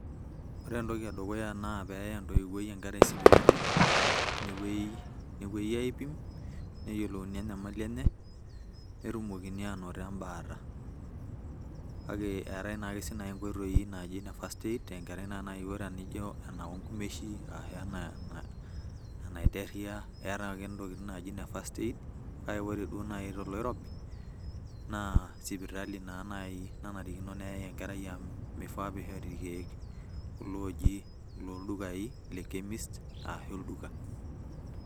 Ore entoki edukuya naa peya entoiwuoi enkerai sipitali, nepoi aipim, neyiolouni enyamali enye, netumokini anoto ebaata. Kake eetae si nai inkoitoi naaji ne first aid tenkerai si naiwuo na nijo enao nkumeshi, ashu enaiterria, etae ake ntokiting' naji ne first aid ,kake ore duo nai toloirobi, naa sipitali na naai nanarikino peyai enkerai amu mifaa pishori irkeek kulo oji loldukai le Chemist ashu olduka.